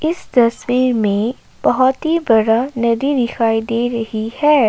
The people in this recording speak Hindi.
तस्वीर मे बहोत ही बड़ा नदी दिखाई दे रही है।